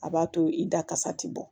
A b'a to i da kasa ti bɔ